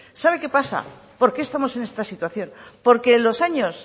sabe qué pasa por qué estamos en esta situación porque en los años